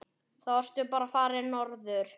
Þá varstu bara farinn norður.